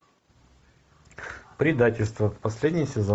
предательство последний сезон